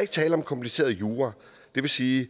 ikke tale om kompliceret jura det vil sige at